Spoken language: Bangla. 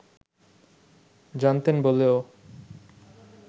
জানতেন বলেও